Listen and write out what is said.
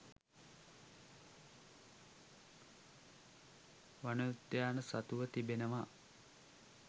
වනෝද්‍යාන සතුව තිබෙනවා